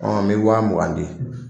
n bɛ wa mugan di.